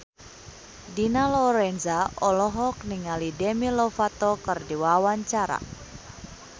Dina Lorenza olohok ningali Demi Lovato keur diwawancara